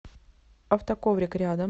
автоковрик рядом